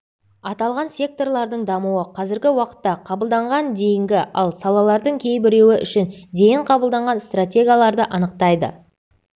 аталған секторлардың дамуы қазіргі уақытта қабылданған дейінгі ал салалардың кейбіреуі үшін дейін қабылданған стратегияларды анықтайды